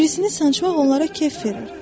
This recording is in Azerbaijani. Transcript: Birisini sancmaq onlara kef verər.